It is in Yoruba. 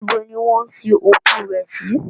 Níbo ni wọn sin òkú rẹ̀ sí?